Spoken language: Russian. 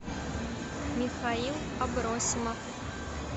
михаил абросимов